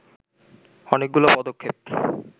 অনেকগুলো পদক্ষেপ